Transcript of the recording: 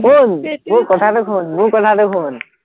শুন, মোৰ কথাটো শুন,